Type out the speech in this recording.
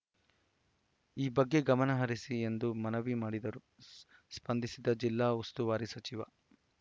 ಈ ಬಗ್ಗೆ ಗಮನಹರಿಸಿ ಎಂದು ಮನವಿ ಮಾಡಿದರೂ ಸ್ ಸ್ಪಂದಿಸದ ಜಿಲ್ಲಾ ಉಸ್ತುವಾರಿ ಸಚಿವ